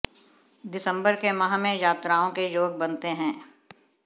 दिसम्बर के माह में यात्राओं के योग बनते हैं